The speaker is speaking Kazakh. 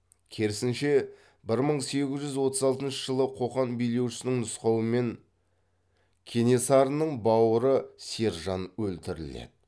керісінше бір мың сегіз жүз отыз алтыншы жылы қоқан билеушісінің нұсқауымен кенесарының бауыры сержан өлтіріледі